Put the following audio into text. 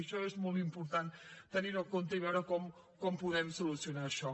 això és molt important tenir ho en compte i veure com podem solucionar això